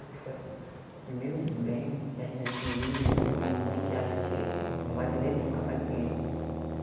Ali foi a o primeiro bem que a gente adquiriu e e um bem que a gente não vai vender nunca para ninguém.